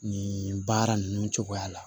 Nin baara ninnu cogoya la